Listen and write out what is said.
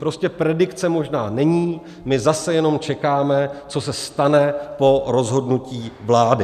Prostě predikce možná není, my zase jenom čekáme, co se stane po rozhodnutí vlády.